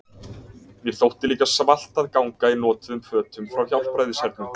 Mér þótti líka svalt að ganga í notuðum fötum frá Hjálpræðishernum.